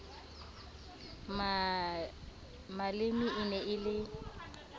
maleme e ne e le